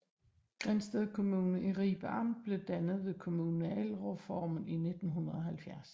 Grindsted Kommune i Ribe Amt blev dannet ved kommunalreformen i 1970